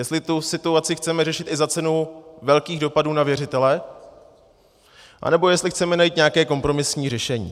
Jestli tu situaci chceme řešit i za cenu velkých dopadů na věřitele, nebo jestli chceme najít nějaké kompromisní řešení.